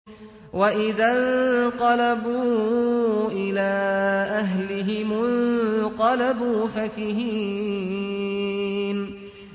وَإِذَا انقَلَبُوا إِلَىٰ أَهْلِهِمُ انقَلَبُوا فَكِهِينَ